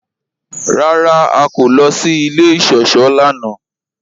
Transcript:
Rárá, à kò lọ sí ilẹ̀ ìṣọ̀ṣọ́ lánà.